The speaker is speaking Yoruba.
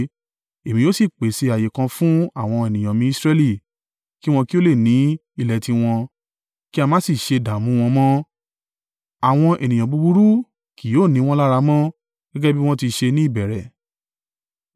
Èmi yóò sì pèsè ààyè kan fún àwọn ènìyàn mi Israẹli, kí wọn kí ó lè ní ilé tiwọn, kí a má sì ṣe dààmú wọn mọ́. Àwọn ènìyàn búburú kì yóò ni wọ́n lára mọ́, gẹ́gẹ́ bí wọ́n ti ṣe ní ìbẹ̀rẹ̀.